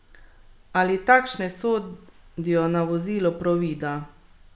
Ali takšne sodijo na vozilo Provida?